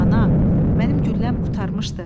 Ana, mənim gülləm qurtarmışdı.